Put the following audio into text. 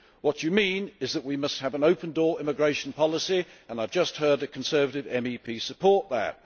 What you mean is that we must have an open door immigration policy, and I have just heard a Conservative MEP support that.